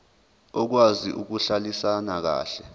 okwazi ukuhlalisana kahle